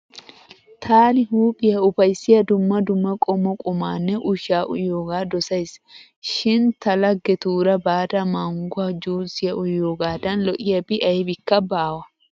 Taani huuphiya ufayssiya dumma dumma qommo qumaanne ushshaa uyiyogaa dosays. Shin ta laggetuura baada mangguwa juusiya uyiogaadan lo'iyabi aybikka baawa.